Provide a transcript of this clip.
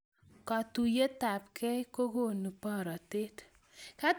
katuiyetabgei kokonu boratet